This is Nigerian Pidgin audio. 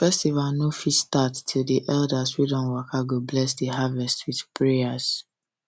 festival no fit start till um the elders um wey don waka go bless the harvest um with prayer